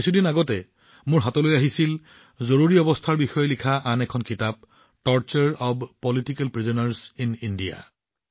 কিছুদিন আগতে মোৰ সন্মুখত জৰুৰীকালীন বিষয়ত লিখা আন এখন কিতাপ আহিছিল যত ভাৰতত ৰাজনৈতিক বন্দীসকলৰ ওপৰত অত্যাচাৰৰ বিৱৰণ আছে